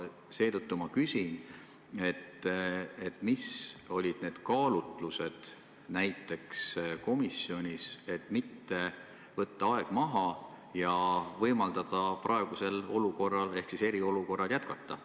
Seetõttu ma küsin, millised olid komisjonis need kaalutlused, et mitte võtta aeg maha ja võimaldada praegusel olukorral ehk eriolukorral jätkuda.